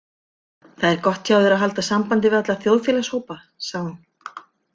Það er gott hjá þér að halda sambandi við alla þjóðfélagshópa, sagði hún.